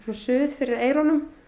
suð fyrir eyrunum